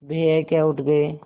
भैया क्या उठ गये